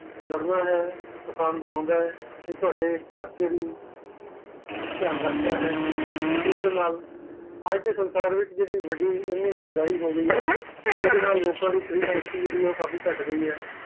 ਲੜਨਾ ਹੈ ਅਸਾਨ ਬਨੁਦਾ ਹੈ ਅਤੇ ਤੋਹੜੇ ਖਰਚੇ ਵੀ ਧਿਆਨ ਰਖਦਾ ਹੈ ਇਸ ਦੇ ਨਾਲ ਅੱਜ ਦੇ ਸੰਸਾਰ ਵਿੱਚ ਜੇਹੜੀ ਵਡੀ ਇਹਨੀਂ ਮਹੰਗਾਈ ਹੋ ਗਈ ਇਹਦੇ ਨਾਲ ਲੋਗਾ ਦੀ ਸਕਤੀ ਕਾਫ਼ੀ ਕਟ ਗਈਹੈ